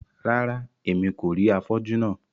Rárá, Èmí kò rí afọju náà